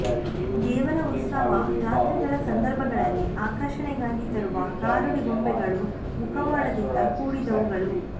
ದೇವರ ಉತ್ಸವ ಜಾತ್ರೆಗಳ ಸಂದರ್ಭಗಳಲ್ಲಿ ಆಕರ್ಷಣೆಗಾಗಿ ತರುವ ಗಾರುಡಿ ಗೊಂಬೆಗಳು ಮುಖವಾಡದಿಂದ ಕೂಡಿದವುಗಳು